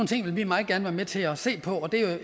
ting vil vi meget gerne være med til at se på det